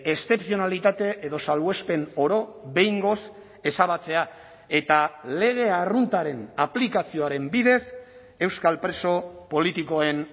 eszepzionalitate edo salbuespen oro behingoz ezabatzea eta lege arruntaren aplikazioaren bidez euskal preso politikoen